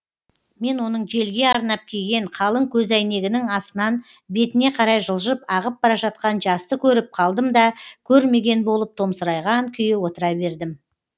мен оның желге арнап киген қалың көзәйнегінің астынан бетіне қарай жылжып ағып бара жатқан жасты көріп қалдым да көрмеген болып томсырайған күйі отыра бердім